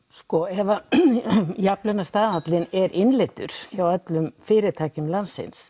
ef jafnlaunastaðallinn er innleiddur hjá öllum fyrirtækjum landsins